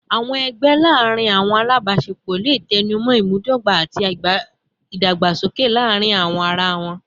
Awọn ẹgbẹ laarin awọn alabaṣepọ le tẹnumọ imudogba ati idagbasoke laarin ara wọn